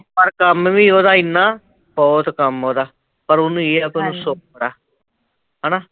ਪਰ ਕੰਮ ਵੀ ਓਹਦਾ ਏਨਾਂ, ਬਹੁਤ ਕੰਮ ਐ ਓਹਦਾ, ਪਰ ਓਹਨੂੰ ਏਹ ਆ ਵੀ ਓਹਨੂੰ ਸੁਖ ਆ ਹੈਨਾ